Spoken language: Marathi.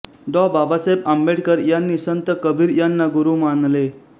डॉ बाबासाहेब आंबेडकर यांनी संत कबीर यांना गुरू मानले